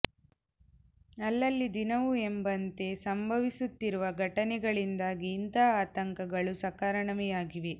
ಅಲ್ಲಲ್ಲಿ ದಿನವೂ ಎಂಬಂತೆ ಸಂಭವಿಸುತ್ತಿರುವ ಘಟನೆಗಳಿಂದಾಗಿ ಇಂತಹ ಆತಂಕಗಳು ಸಕಾರಣವೇ ಆಗಿವೆ